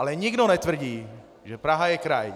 Ale nikdo netvrdí, že Praha je kraj.